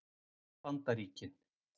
Bandaríkin